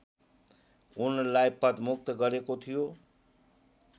उनलाई पदमुक्त गरेको थियो